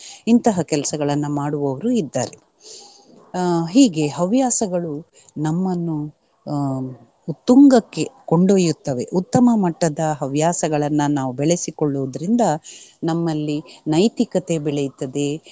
ಇಂತಹ ಕೆಲಸಗಳನ್ನ ಮಾಡುವವರು ಇದ್ದಾರೆ. ಅಹ್ ಹೀಗೆ ಹವ್ಯಾಸಗಳು ನಮ್ಮನ್ನು ಅಹ್ ಉತ್ತುಂಗಕ್ಕೆ ಕೊಂಡೊಯ್ಯುತ್ತವೆ. ಉತ್ತಮ ಮಟ್ಟದ ಹವ್ಯಾಸಗಳನ್ನ ನಾವು ಬೆಳೆಸಿಕೊಳ್ಳುವುದ್ರಿಂದ ನಮ್ಮಲ್ಲಿ ನೈತಿಕತೆ ಬೆಳೆಯುತ್ತದೆ.